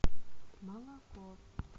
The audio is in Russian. молоко